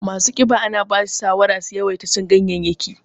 Masu ƙiba ana basu shawara su yawaita cin ganyaye